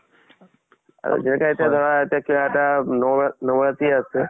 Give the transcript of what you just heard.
আৰু যিহেতু এতিয়া ধৰা কিবা এটা নব নবৰাত্ৰী আছে